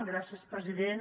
gràcies president